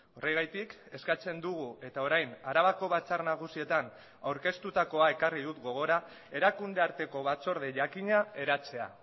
horregatik eskatzen dugu eta orain arabako batzar nagusietan aurkeztutakoa ekarri dut gogora erakunde arteko batzorde jakina eratzea